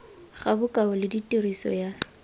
ga bokao le tiriso ya